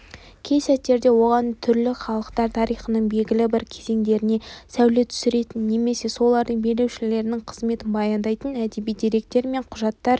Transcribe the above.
кей сәттерде оған түрлі халықтар тарихының белгілі бір кезеңдеріне сәуле түсіретін немесе солардың билеушілерінің қызметін баяндайтын әдеби деректер мен құжаттар